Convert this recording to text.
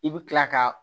I bi kila ka